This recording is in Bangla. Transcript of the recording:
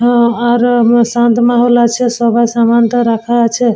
আ আর ও ব শান্ত মহল আছে সবার সামান টা রাখা আছে।